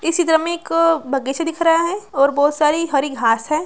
इसी चित्र में एक बगीचा दिख रहा है और बहुत सारी हरी घास है।